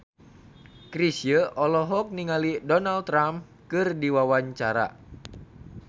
Chrisye olohok ningali Donald Trump keur diwawancara